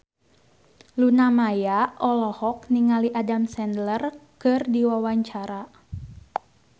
Luna Maya olohok ningali Adam Sandler keur diwawancara